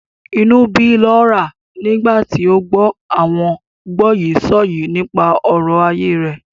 Inú ń bí Laura nígbà tí ó gbọ́ àwọn gbọ́yìísọ̀yìí nípa ọ̀rọ̀ ayé rẹ̀.